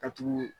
Ka tugu